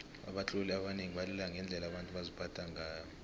abatloli abanengi balila ngendlela abantu baziphatha ngayo